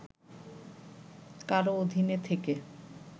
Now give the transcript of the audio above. কারও অধীনে থেকে